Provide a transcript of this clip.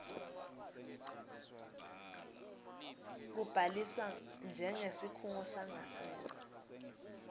kubhaliswa njengesikhungo sangasese